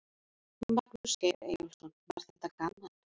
Magnús Geir Eyjólfsson: Var þetta gaman?